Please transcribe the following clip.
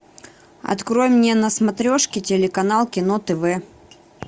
открой мне на смотрешке телеканал кино тв